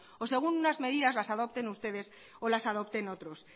o según unas medidas las adopten ustedes o las adopten otros